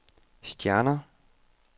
stjerner